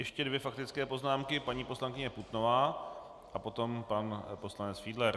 Ještě dvě faktické poznámky, paní poslankyně Putnová a potom pan poslanec Fiedler.